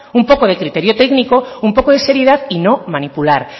un poco de criterio técnico un poco de seriedad y no manipular